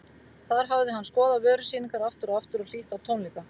Þar hafði hann skoðað vörusýningar aftur og aftur og hlýtt á tónleika.